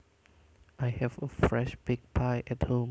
I have a fresh baked pie at home